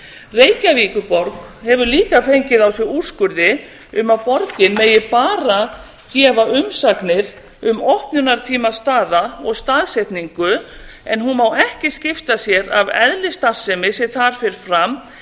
reykjavíkurborg hefur líka fengið á sig úrskurði um að borgin megi bara gefa umsagnir um opnunartíma staða og staðsetningu en hún má ekki skipta sér af eðli starfsemi sem þar fer fram